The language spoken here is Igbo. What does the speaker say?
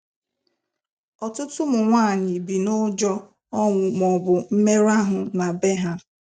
Ọtụtụ ụmụ nwaanyị bi n'ụjọ ọnwụ maọbụ mmerụ ahụ na bee ya